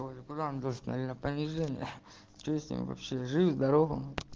понижение что с ним вообще жить здорово